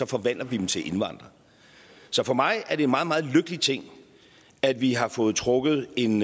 forvandler vi dem til indvandrere for mig er det en meget meget lykkelig ting at vi har fået trukket en